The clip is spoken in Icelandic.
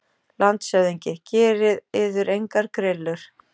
LANDSHÖFÐINGI: Gerið yður engar grillur.